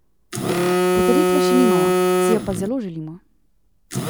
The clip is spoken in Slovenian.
Potrditve še nimamo, si je pa zelo želimo.